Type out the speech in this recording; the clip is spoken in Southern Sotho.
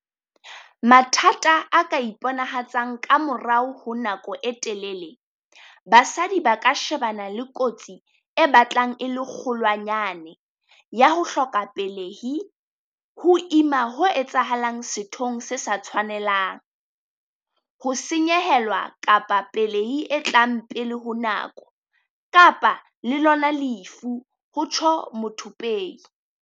"Mathata a ka iponahatsang ka morao honako e telele, basadi ba ka shebana le kotsi e batlang e le kgolwanyane ya ho hloka pelehi, ho ima ho etsahalang sethong se sa tshwanelang, ho senyehelwa kapa pelehi e tlang pele ho nako, kapa le lona lefu," o rialo Muthupei.